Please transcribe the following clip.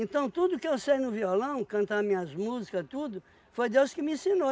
tudo que eu sei no violão, cantar minhas músicas, tudo, foi Deus que me ensinou.